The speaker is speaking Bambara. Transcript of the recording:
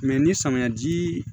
ni samiyɛ ji